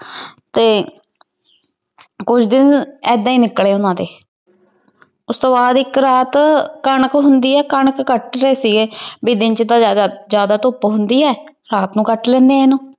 ਤੇ ਕੁੱਝ ਦਿਨ ਇਦਾਂ ਹੀ ਨਿਕਲੇ ਉਹਨਾਂ ਦੇ। ਉਸਤੋਂ ਬਾਅਦ ਇੱਕ ਰਾਤ ਕਣਕ ਹੁੰਦੀ ਕਣਕ ਕੱਟ ਰਹੇ ਸੀਗੇ ਬੀ ਦਿਨ ਚ ਤਾਂ ਜ਼ਿਆਦਾ ਧੁੱਪ ਹੁੰਦੀ ਐ ਰਾਤ ਨੂੰ ਕੱਟ ਲੈਨੇ ਆ ਇਹਨੂੰ।